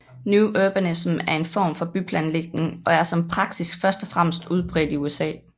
New Urbanism er en form for byplanlægning og er som praksis først og fremmest udbredt i USA